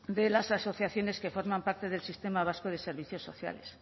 de las asociaciones que forman parte del sistema vasco de servicios sociales